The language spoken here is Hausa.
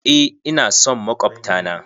Eh, ina son makwabta na.